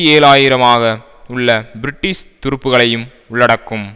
ஏழு ஆயிரம் ஆக உள்ள பிரிட்டிஷ் துருப்புக்களையும் உள்ளடக்கும்